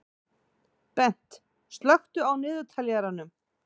Bent, slökktu á niðurteljaranum.